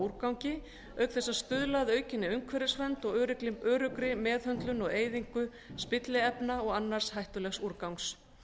úrgangi auk þess að stuðla að aukinni umhverfisvernd og öruggri meðhöndlun og eyðingu spilliefna og annars hættulegs úrgangs